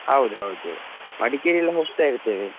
ಹೌದು ಹೌದು Madikeri ಎಲ್ಲ ಹೋಗ್ತಾ ಇರ್ತೇವೆ.